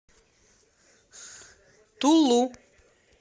тулу